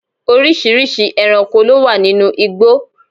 oríṣiríṣi ẹranko ló wà ninú igbó